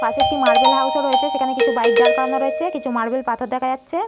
পাশে একটি marble house রয়েছে সেখানে কিছু বাইক দাঁড় করানো রয়েছে কিছু মার্বেল পাথর দেখা যাচ্ছে ।